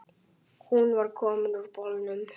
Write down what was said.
Hún var komin úr bolnum.